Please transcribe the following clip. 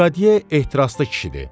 Lekadye ehtiraslı kişidir.